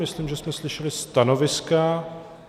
Myslím, že jsme slyšeli stanoviska.